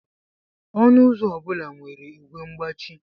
Ọnụ ụzọ obula nwere igwe mgbachi